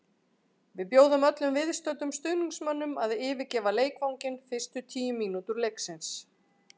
Við bjóðum öllum viðstöddum stuðningsmönnum að yfirgefa leikvanginn fyrstu tíu mínútur leiksins.